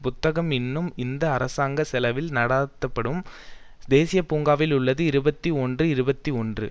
புத்தகம் இன்னும் இந்த அரசாங்க செலவில் நடாத்த படும் தேசிய பூங்காவில் உள்ளது இருபத்தி ஒன்று இருபத்தி ஒன்று